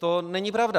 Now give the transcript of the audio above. To není pravda!